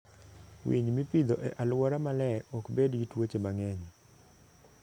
Winy mipidho e alwora maler ok bed gi tuoche mang'eny.